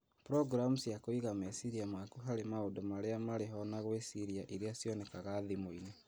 Programu cia kũiga meciria maku harĩ maũndũ marĩa marĩ ho na gwĩciria iria cionekaga thimũinĩ